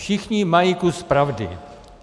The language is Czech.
- všichni mají kus pravdy.